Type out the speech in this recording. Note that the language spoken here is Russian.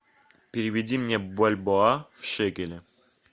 переведи мне бальбоа в шекели